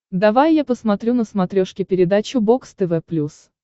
давай я посмотрю на смотрешке передачу бокс тв плюс